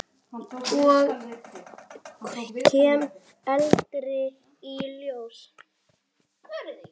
Ég kem aldrei í ljós.